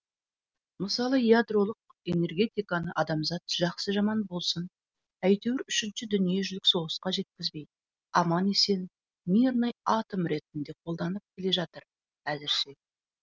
мысалы ядролық энергетиканы адамзат жақсы жаман болсын әйтеуір үшінші дүниежүзілік соғысқа жеткізбей аман есен мирный атом ретінде қолданып келе жатыр әзірше